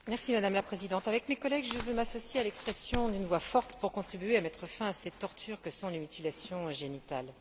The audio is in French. Madame la Présidente, avec mes collègues, je veux m'associer à l'expression d'une voix forte pour contribuer à mettre fin à ces tortures que sont les mutilations génitales.